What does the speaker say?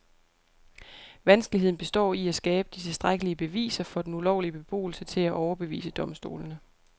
Vanskeligheden består i at skabe de tilstrækkelige beviser for den ulovlige beboelse til at overbevise domstolene.